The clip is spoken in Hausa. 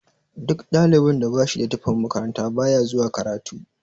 Duk ɗalibin da bashida tufan makaranta baya zuwa karatu.